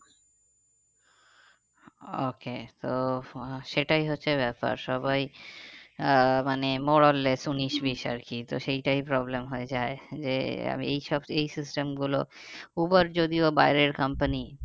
Okay তো সেটাই হচ্ছে ব্যাপার সবাই আহ মানে more or less উনিশ বিষ আর কি তো সেইটাই problem হয়ে যায়। যে আমি এই সব এই system গুলো উবার যদিও বাইরের company